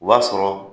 O b'a sɔrɔ